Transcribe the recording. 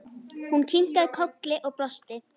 Hún kinkaði kolli og brosti.